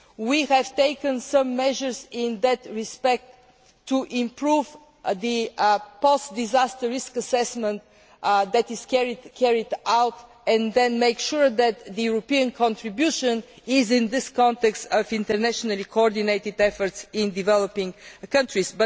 We have taken some measures in that respect to improve the post disaster risk assessment that is carried out and then make sure that the European contribution is in this context of internationally coordinated efforts in developing countries.